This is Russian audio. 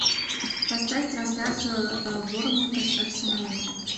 поставь трансляцию борнмута с арсеналом